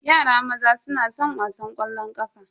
Yara maza suna san wasan ƙwallon ƙafa.